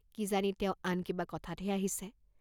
কি জানি তেওঁ আন কিবা কথাতহে আহিছে?